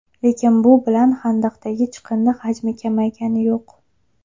Lekin bu bilan xandaqdagi chiqindi hajmi kamaygani yo‘q.